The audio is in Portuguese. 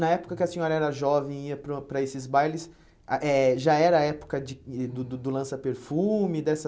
Na época que a senhora era jovem e ia para o para esses bailes, ah eh já era a época de do do do lança-perfume? Dessa